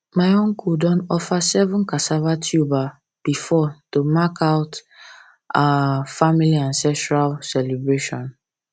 my uncle don offer seven cassava tuber before to mark our to mark our family ancestral celebration